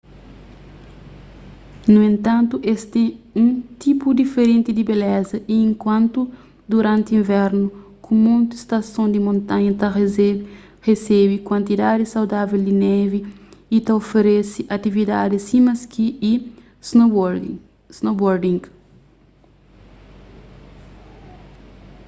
nu entantu es ten un tipu diferenti di beleza y inkantu duranti invernu ku monti stason di montanha ta resebe kuantidadis saudável di nevi y ta oferese atividadis sima ski y snowboarding